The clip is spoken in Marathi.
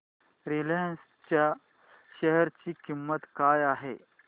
रिलायन्स च्या शेअर ची किंमत काय आहे